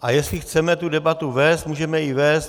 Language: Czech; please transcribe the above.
A jestli chceme tu debatu vést, můžeme ji vést.